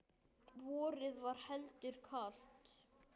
Vorið var heldur kalt.